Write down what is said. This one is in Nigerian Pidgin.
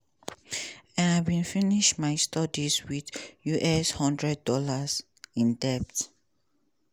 and i bin finish my studies wit us one thousand dollars00 in debt.